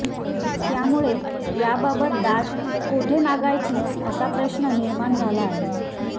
त्यामुळे याबाबत दाद कोठे मागायची असा प्रश्न निर्माण झाला आहे